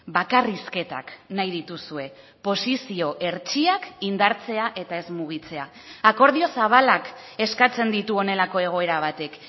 bakarrizketak nahi dituzue posizio hertsiak indartzea eta ez mugitzea akordio zabalak eskatzen ditu honelako egoera batek